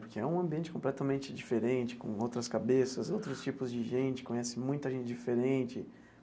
Porque é um ambiente completamente diferente, com outras cabeças, outros tipos de gente, conhece muita gente diferente.